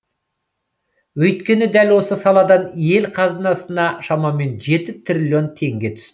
өйткені дәл осы саладан ел қазынасына шамамен жеті триллион теңге түсті